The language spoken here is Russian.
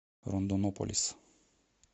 рондонополис